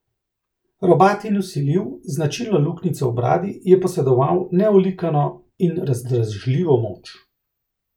Robat in vsiljiv, z značilno luknjico v bradi, je posedoval neolikano in razdražljivo moč.